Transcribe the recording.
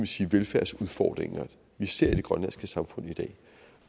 sige velfærdsudfordringer vi ser i det grønlandske samfund i dag